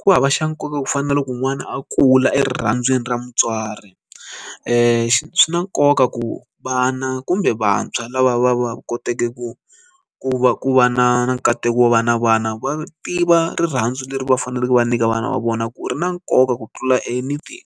ku hava xa nkoka ku fana na loko n'wana a kula erirhandziweni ra mutswari swi na nkoka ku ku vana kumbe vantshwa lava va va kotaka ku ku va ku va na nkateko wo va na vana va tiva rirhandzu leri va faneleke va nyika vana va vona ku ri na nkoka ku tlula anything.